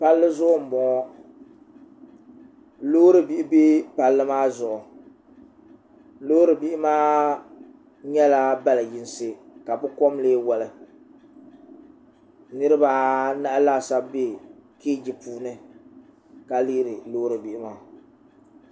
palli zuɣu n boŋo loori bihi bɛ palii maa zuɣu loori bihi maa nyɛla bali yinsi ka bi kom lee woli niraba anahi laasabu bɛ kɛji puuni ka lihiri loori bihi maa